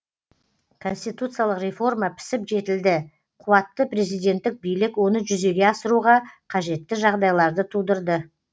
конституциялық реформа пісіп жетілді қуатты президентік билік оны жүзеге асыруға қажетті жағдайларды тудырды